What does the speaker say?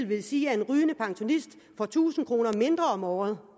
vil sige at en rygende pensionist får tusind kroner mindre om året